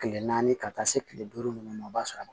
Kile naani ka taa se kile duuru nunnu ma o b'a sɔrɔ a